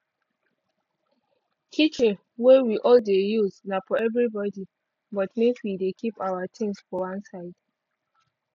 kitchen wey we all dey use na for everi body but make wi dey keep awa tings for one side